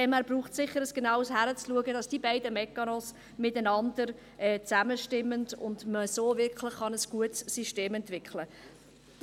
Daher braucht es sicher ein genaueres Hinsehen, damit die beiden Mechanismen aufeinander abgestimmt werden und so ein wirklich gutes System entwickelt werden kann.